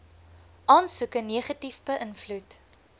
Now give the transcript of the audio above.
aansoeke negatief beïnvloed